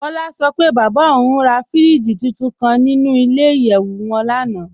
Kọ́lá sọ pé bábá ọ̀un rà fíríjì túntún kàn nínú ilẹ̀-ìyẹ̀wù wọn lánà.